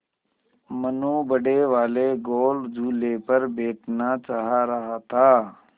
मनु बड़े वाले गोल झूले पर बैठना चाह रहा था